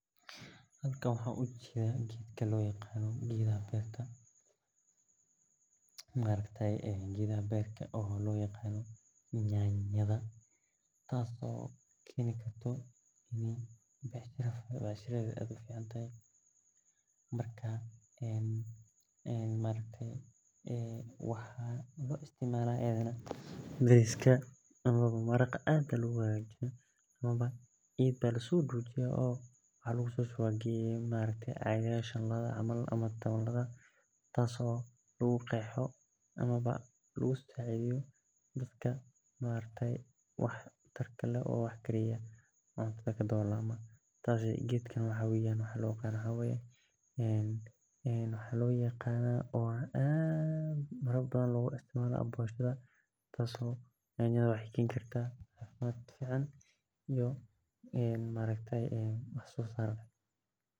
Halkan waxan oga jeda geedaha beerta oo lo yaqano nyanyada marka waxaa Lo isticmala bariska amawa amawa maraqa aad aya logu hagajiya tas oo lagu qexo dadka cuntadha kariyo maxaa aad logu isticmala bishaada waxeee keni kartaa cafimmad wax sosar leh dadka aad bey ujecelyihin sas waye sheygani.